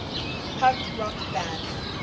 punk rock band